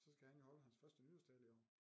Så skal han jo holde hans første nytårstale i år